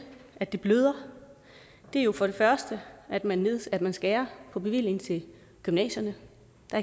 at det bløder er jo for det første at man at man skærer på bevillingen til gymnasierne